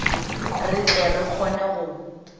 re tle re kgone go